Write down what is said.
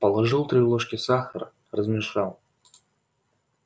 положил три ложки сахара размешал